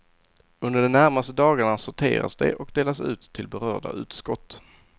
Under de närmaste dagarna sorteras de och delas ut till berörda utskott.